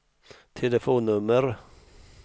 telefonnummer